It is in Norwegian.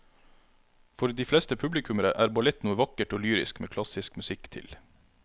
For de fleste publikummere er ballett noe vakkert og lyrisk med klassisk musikk til.